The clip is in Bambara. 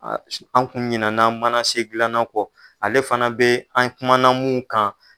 An kun ɲinana mana se dilanna kɔ ale fana bɛ an kumana mnnu kan.